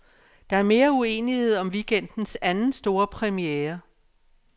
Der er mere uenighed om weekendens anden, store premiere.